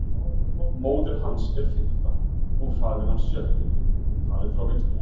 Móðir hans er fimmta og faðir hans sjötti, talið frá vinstri.